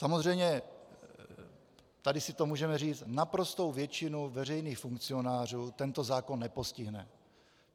Samozřejmě, tady si to můžeme říct, naprostou většinu veřejných funkcionářů tento zákon nepostihne.